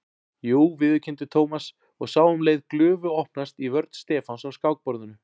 Jú viðurkenndi Thomas og sá um leið glufu opnast í vörn Stefáns á skákborðinu.